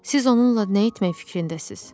Siz onunla nə etmək fikrindəsiz?